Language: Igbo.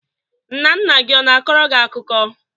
Nna nna gị ọ na-akọro gị akụkọ?